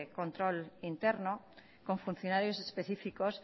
control interno con funcionarios específicos